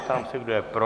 Ptám se, kdo je pro?